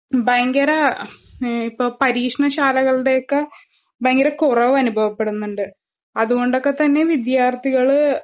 പയങ്കര ഉം ഇപ്പ പരീക്ഷണശാലകളുടെയൊക്കെ ബയങ്കരകുറവനുഭവപ്പെടുന്നുണ്ട്. അത്കൊണ്ടൊക്കെത്തന്നെ വിദ്യാർത്ഥികള്